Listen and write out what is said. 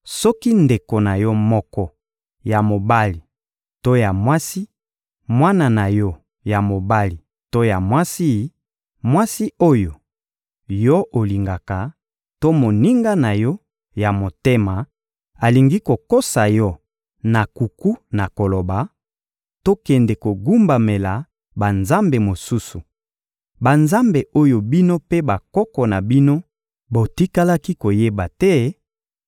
Soki ndeko na yo moko ya mobali to ya mwasi, mwana na yo ya mobali to ya mwasi, mwasi oyo yo olingaka to moninga na yo ya motema alingi kokosa yo na nkuku na koloba: «Tokende kogumbamela banzambe mosusu,» banzambe oyo bino mpe bakoko na bino botikalaki koyeba te,